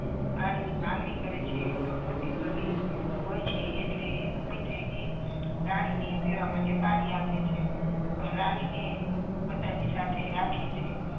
પાણી ની માંગણી કરે છે તો ડોસી ઉભી થઈ ને રાણી ને પીવા માટે પાણી આપે છે રાની ને પોતાની સાથે રાખે છે.